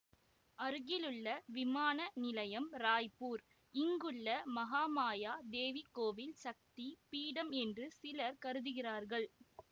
அருகிலுள்ள விமான நிலையம் ராய்ப்பூர் இங்குள்ள மஹாமாயா தேவி கோவில் சக்தி பீடம் என்று சிலர் கருதுகிறார்கள்